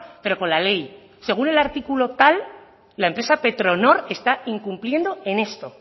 pero con la ley según el artículo tal la empresa petronor está incumpliendo en esto